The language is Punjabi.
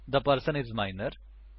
the person is Minor